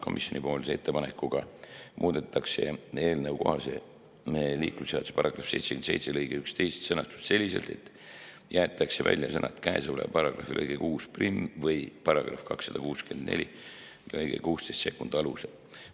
Komisjoni muudatusettepanekuga muudetakse eelnõukohase liiklusseaduse § 77 lõike 11 sõnastust selliselt, et jäetakse välja sõnad "käesoleva paragrahvi lõike 61 või § 264 lõike 162 alusel".